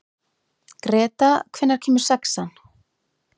Greta, hvenær kemur sexan?